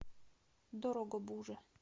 дорогобуже